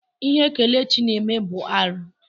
Ihe Kelechi na-eme abụ ihe arụ?